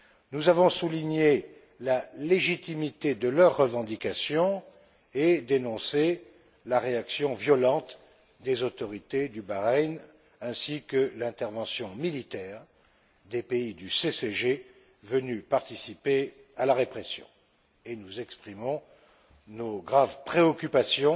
Nous avons souligné la légitimité de leurs revendications et dénoncé la réaction violente des autorités de Bahreïn ainsi que l'intervention militaire des pays du CCG venus participer à la répression, et nous exprimons nos graves préoccupations